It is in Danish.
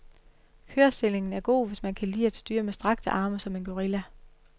Kørestillingen er god, hvis man kan lide at styre med strakte arme som en gorilla.